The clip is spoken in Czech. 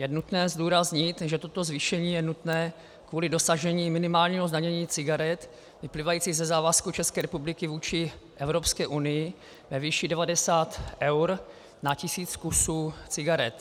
Je nutné zdůraznit, že toto zvýšení je nutné kvůli dosažení minimálního zdanění cigaret vyplývajícího ze závazku České republiky vůči Evropské unii ve výši 90 eur na tisíc kusů cigaret.